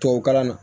Tubabukalan na